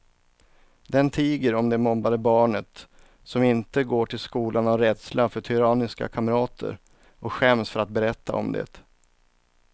Den tiger om det mobbade barnet som inte går till skolan av rädsla för tyranniska kamrater och skäms för att berätta om det.